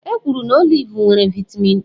Ekwuru na oliv nwere vaịtamịn E.